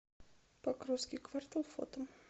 покровский квартал фото